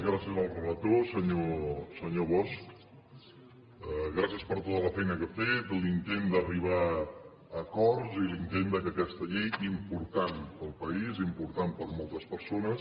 gràcies al relator senyor bosch gràcies per tota la feina que ha fet l’intent d’arribar a acords i l’intent que aquesta llei important per al país important per a moltes persones